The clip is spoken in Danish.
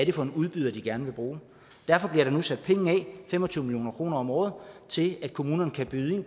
er for en udbyder de gerne vil bruge derfor bliver der nu sat penge af fem og tyve million kroner om året til at kommunerne kan byde ind i